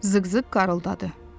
Zığzığ qarğıldadı.